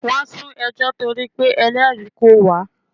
Wọ́n sún ẹjọ́ torí pé Ẹlẹ́rìí kò wá.